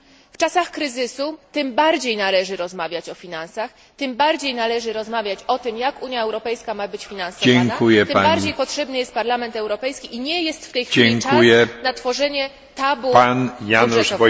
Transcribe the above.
W czasach kryzysu tym bardziej należy rozmawiać o finansach, tym bardziej należy rozmawiać o tym, jak Unia Europejska ma być finansowana, tym bardziej potrzebny jest Parlament Europejski i nie jest w tej chwili czas na tworzenie tabu budżetowego.